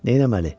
Neyləməli?